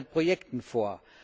300 Projekten vor.